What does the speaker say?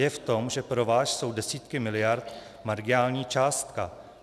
Je v tom, že pro vás jsou desítky miliard marginální částka.